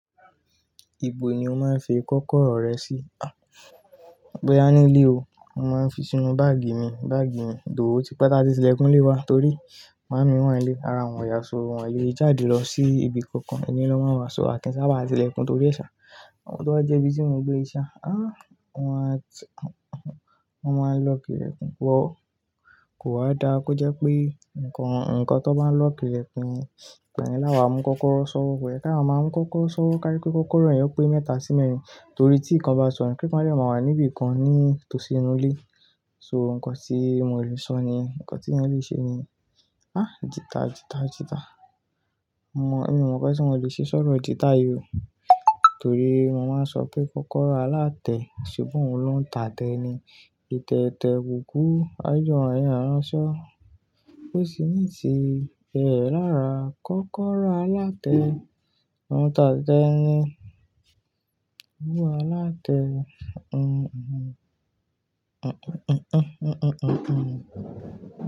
Ìbò ni o máa ń fi kọ́kọ́rọ́ rẹ sí? Boya nílé o, mo máa ń fi sínú báàgì mi, báàgì mi tho, ó ti pe táti tìlẹ̀kúnlé wa torí màámi wà nílé, ara wọn oyà sọ, wọ́n óò le jáde lọ sí ibi kankan, inu ile lo máa ń wàá se a kin ṣáá bá tìlẹ̀kún torí ẹ̀e ṣà. Ohun tó jẹ́ bí tí mo gbé ṣẹ́, ah, wọ́n máa ń lọck ìlẹ̀kùn, ko wa dáa kó jẹ́ pé nǹkan tó bá lọck ìlẹ̀kùn, igbayen láwàá, mú kọ́kọ́rọ́ sọ wò ko ye, ká máa ń mú kọ́kọ́rọ́ sọ wò kájekí kọ́kọ́rọ́ yen pé mẹ́ta sí mẹ́rin torí tí nǹkan bá sọnù, kíkan lẹ̀ máa wà níbi kan ní tòsínú ilé. So, nǹkan tí mo lè sọ ni, nǹkan tí yín lè ṣe ni, ah, jìta jìta jìta. Mo, èmi oọ̀ mo nkan tí mo lè ṣe sọ̀rọ̀ jìta yìí o torí mo máa ń sọ pé kọ́kọ́rọ́ alátẹ ṣebi òun ló ń tàtẹ̀ ni. Tẹ̀tẹ̀ tẹ̀ kúkú, ájòyọ̀ ẹ̀yin á ránṣọ, ó sì ní ìtì, ẹẹ̀ lára kọ́kọ́rọ́ alátẹ, òun tàtẹ̀ ni. Ówu alátẹ, un un un un un un un un.